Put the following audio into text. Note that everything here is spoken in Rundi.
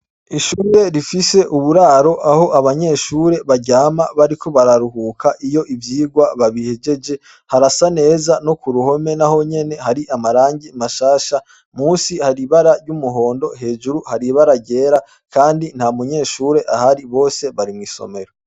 ishure rifise uburaro aho abanyeshure baryama bariko bararuhuka iyo ivyigwa babihegeje harasa neza no ku ruhome nahonyene hari amarangi mashasha musi hari ibara ry'umuhondo hejuru hari ibara ryera kandi nta munyeshure ahari bose bari mw’isomero.